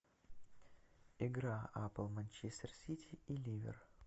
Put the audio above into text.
игра апл манчестер сити и ливер